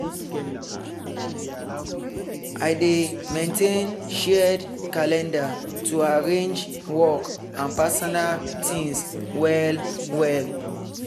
i dey maintain shared calendar to arrange work and personal things well well.